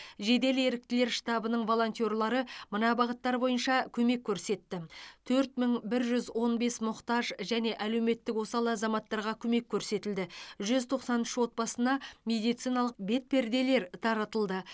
жедел еріктілер штабының волонтерлері мына бағыттар бойынша көмек көрсетті төрт мың бір жүз он бес мұқтаж және әлеуметтік осал азаматтарға көмек көрсетілді жүз тоқсан үш отбасына медициналық бетперделер таратылды